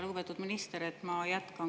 Lugupeetud minister!